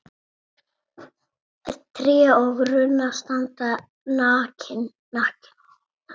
Tré og runnar standa nakin.